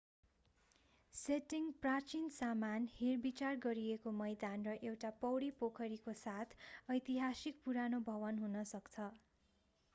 setting प्राचीन सामान हेरविचार गरिएको मैदान र एउटा पौडी पोखरीको साथ ऐतिहासिक पुरानो भवन हुन सक्छ